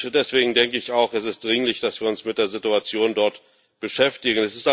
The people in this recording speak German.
Deswegen denke ich auch, es ist dringlich, dass wir uns mit der Situation dort beschäftigen.